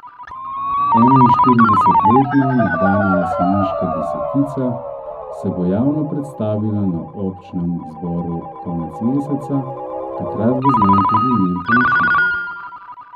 Enainštiridesetletna nekdanja jeseniška desetica se bo javno predstavila na občnem zboru konec meseca, takrat bo znan tudi njen pomočnik.